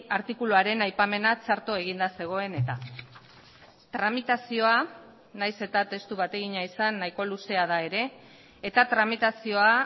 artikuluaren aipamena txarto eginda zegoen eta tramitazioa nahiz eta testu bategina izan nahiko luzea da ere eta tramitazioa